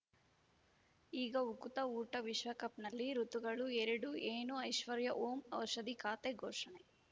ಈಗ ಉಕುತ ಊಟ ವಿಶ್ವಕಪ್‌ನಲ್ಲಿ ಋತುಗಳು ಎರಡು ಏನು ಐಶ್ವರ್ಯಾ ಓಂ ಔಷಧಿ ಖಾತೆ ಘೋಷಣೆ